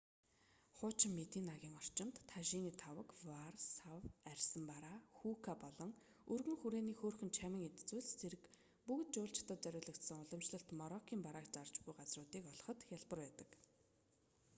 хуучин мединагийн орчимд тажины таваг ваар сав арьсан бараа хүүка болон өргөн хүрээний хөөрхөн чамин эд зүйл зэрэг бүгд жуулчдад зориулагдсан уламжлалт мороккын барааг зарж буй газруудыг олоход хялбар байдаг